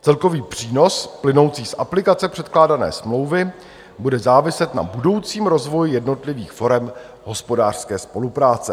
Celkový přínos plynoucí z aplikace předkládané smlouvy bude záviset na budoucím rozvoji jednotlivých forem hospodářské spolupráce.